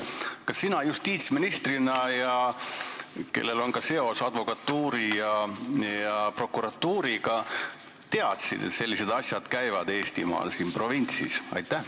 Kas sina justiitsministrina, kellel on ka seos advokatuuri ja prokuratuuriga, teadsid, et sellised asjad Eestimaal, siin provintsis toimuvad?